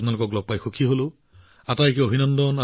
মোৰ ফালৰ পৰা আপোনালোক সকলোকে বহুত বহুত অভিনন্দন